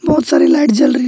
बहुत सारी लाइट जल रही--